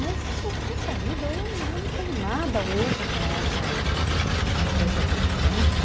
Mas isso, poxa vida, eu eu não tenho nada hoje para essa empresa de eventos.